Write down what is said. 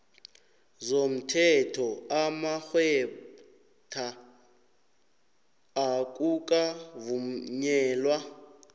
zomthetho amagcwetha akukavunyelwa